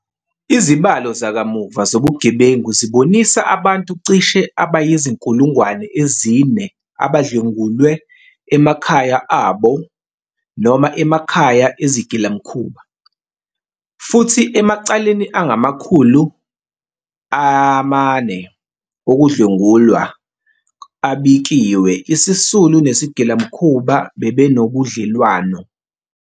Izibalo zakamuva zobugebengu zibonisa abantu cishe abayizi-4 000 abadlwengulwe emakhaya abo noma emakhaya ezigilamkhuba, futhi emacaleni angama-400 okudlwengula abikiwe isisulu nesigilamkhuba bebenobudlelwano.